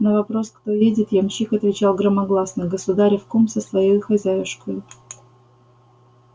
на вопрос кто едет ямщик отвечал громогласно государев кум со своею хозяюшкою